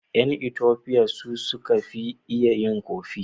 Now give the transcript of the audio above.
Yan Ethopians su suka fi iya yin "coffee".